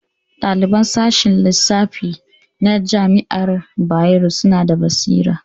Ɗaliban sashen lissafi na jami'ar Bayero suna da basira